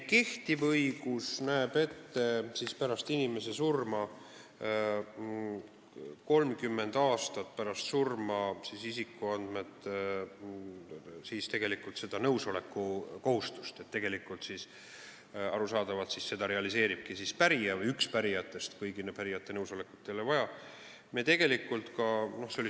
Kehtiv õigus näeb 30 aastat pärast inimese surma ette seda nõusoleku kohustust, mida arusaadavalt realiseeribki pärija või, õigemini, üks pärijatest, kõigi pärijate nõusolekut ei ole vaja.